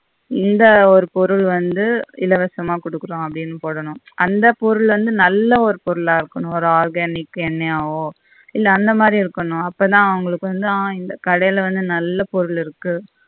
இந்த ஒரு பொருள் வந்து இலவசமாக கொடுக்குறோம் அப்படின்னு போடணும். அந்த பொருள் வந்து நல்ல ஒரு பொருளா இருக்கணும் ஒரு organic எண்ணையாவோ இல்ல அந்த மாதிரி இருக்கணும் அப்பா தான் அவங்களுக்கு வந்து ஆஹ் இந்த கடைல வந்து நல்ல பொருள் இருக்கு